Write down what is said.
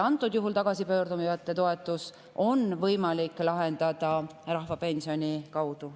Antud juhul on tagasipöörduja toetuse võimalik lahendada rahvapensioniga.